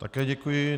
Také děkuji.